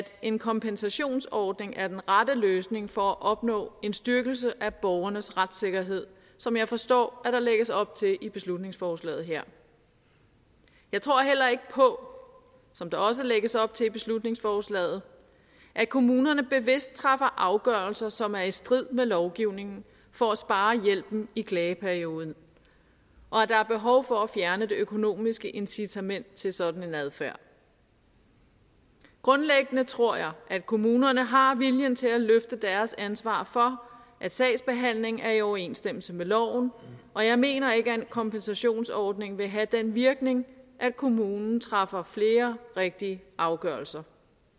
en kompensationsordning er den rette løsning for at opnå en styrkelse af borgernes retssikkerhed som jeg forstår at der lægges op til i beslutningsforslaget her jeg tror heller ikke på som der også lægges op til i beslutningsforslaget at kommunerne bevidst træffer afgørelser som er i strid med lovgivningen for at spare hjælpen i klageperioden og at der er behov for at fjerne det økonomiske incitament til sådan en adfærd grundlæggende tror jeg at kommunerne har viljen til at løfte deres ansvar for at sagsbehandlingen er i overensstemmelse med loven og jeg mener ikke at en kompensationsordning vil have den virkning at kommunen træffer flere rigtige afgørelser